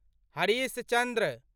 Harish Chandra